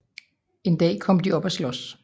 En dag kom de op at slås